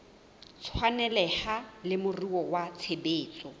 tshwaneleha le moruo wa tshebetso